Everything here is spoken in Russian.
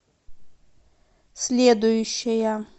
следующая